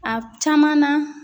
A caman na